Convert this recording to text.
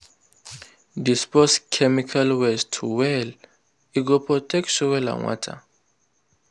dispose chemical waste well—e go protect soil and water.